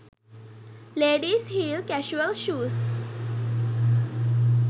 ladies heel casual shoes